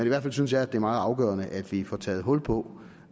i hvert fald synes jeg at det er meget afgørende at vi får taget hul på